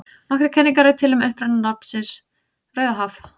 Nokkrar kenningar eru til um uppruna nafnsins Rauðahaf.